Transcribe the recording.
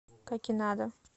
какинада